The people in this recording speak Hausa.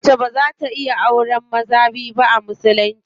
Mace baza ta iya auren maza biyu ba a musulunci.